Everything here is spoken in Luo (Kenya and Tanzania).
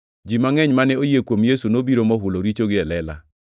Ji mangʼeny mane oyie kuom Yesu nobiro mohulo richogi e lela.